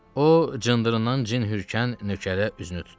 O, cındırından cin hürkən nökərə üzünü tutdu.